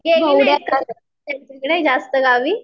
जास्त गावी